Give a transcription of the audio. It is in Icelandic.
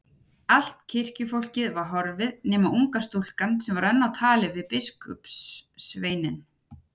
Allt kirkjufólkið var horfið nema unga stúlkan sem var enn á tali við biskupssveininn.